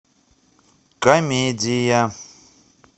комедия